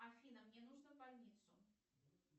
афина мне нужно в больницу